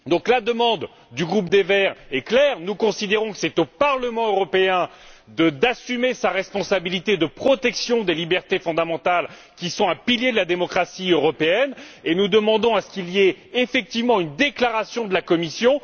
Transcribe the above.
La demande du groupe des Verts est claire nous considérons que c'est au Parlement européen d'assumer sa responsabilité en termes de protection des libertés fondamentales, pilier de la démocratie européenne, et nous demandons à ce qu'il y ait effectivement une déclaration de la Commission.